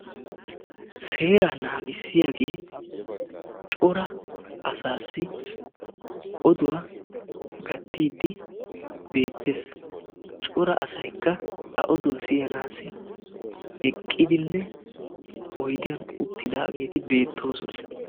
seera naagissiyaagee cora asassi oduwaa gaattide beettees; cora asaykka a oduwaa siyannassi eqqidinne oyddiyaan uttidaageeti beettoosona.